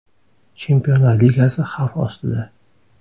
Chempionlar ligasi xavf ostida.